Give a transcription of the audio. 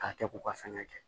K'a kɛ k'u ka fɛngɛ kɛ